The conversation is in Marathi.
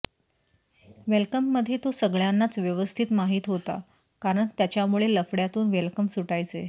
वेलकममधे तो सगळ्यांनाच व्यवस्थित माहीत होता कारण त्याच्यामुळे लफड्यातून वेलकम सुटायचे